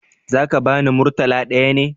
Za ka bani murtala ɗaya ne?